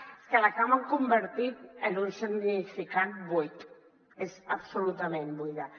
és que l’acaben convertint en un significat buit és absolutament buida